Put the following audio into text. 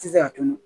Tɛ se ka tunu